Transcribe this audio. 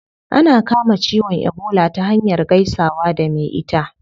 Ana kama ciwon ebola ta hanyar gaisawa da me ita